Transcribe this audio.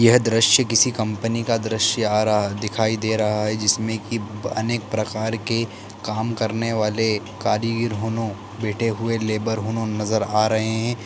यह दृश्य किसी कम्पनी का दृश्य आ रहा है दिखाई दे रहा है जिसमें की अनेक प्रकार के काम करने वाले कारीगर होनू बैठे हुए लेबर नजर आ रहे हैं|